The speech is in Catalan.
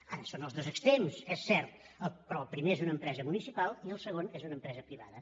ara són els dos extrems és cert però el primer és una empresa municipal i el segon és una empresa privada